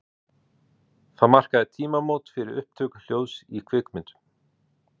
Það markaði tímamót fyrir upptöku hljóðs í kvikmyndum.